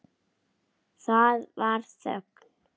Það varð þögn.